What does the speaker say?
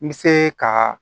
N bɛ se ka